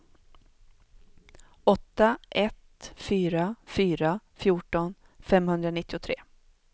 åtta ett fyra fyra fjorton femhundranittiotre